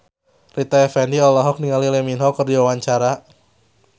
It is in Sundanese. Rita Effendy olohok ningali Lee Min Ho keur diwawancara